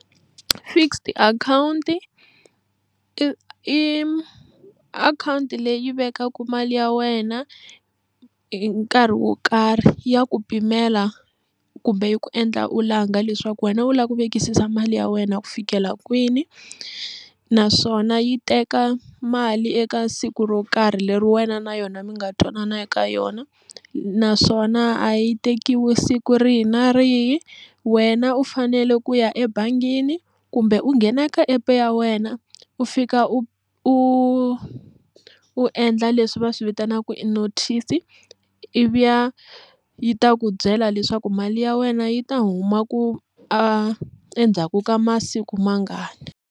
Fixed akhawunti i akhawunti leyi vekaka mali ya wena hi nkarhi wo karhi ya ku pimela kumbe yi ku endla u langa leswaku wena u lava ku vekisisa mali ya wena ku fikela kwini naswona yi teka mali eka siku ro karhi leri wena na yona mi nga twanana eka yona naswona a yi tekiwi siku rihi na rihi wena u fanele ku ya ebangini kumbe u nghena ka app ya wena u fika u u u endla leswi va swi vitanaka i notice ivi ya yi ta ku byela leswaku mali ya wena yi ta huma ku a endzhaku ka masiku mangani.